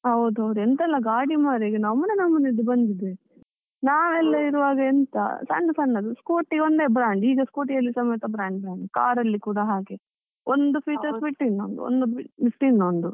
ಹೌದೌದು, ಎಂತೆಲ್ಲಾ ಗಾಡಿ ಮರ್ರೆ ನಮುನೆ ನಮುನೆದು ಬಂದಿದೆ, ನಾವೆಲ್ಲ ಇರುವಾಗ ಎಂತ ಸಣ್ಣ ಸಣ್ಣದು scooty ಒಂದೇ brand ಈಗ scooty ಅಲ್ಲಿ ಸಮೇತ brand brand, car ಅಲ್ಲಿ ಕೂಡ ಹಾಗೆ, ಒಂದು features ಬಿಟ್ಟು ಇನ್ನೊಂದು ಒಂದು ಬಿಟ್ಟು ಇನ್ನೊಂದು.